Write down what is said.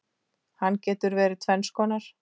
Hann getur verið tvenns konar